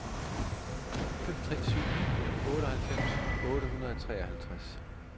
fem tre syv ni otteoghalvfems otte hundrede og treoghalvtreds